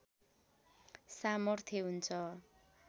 सामर्थ्य हुन्छ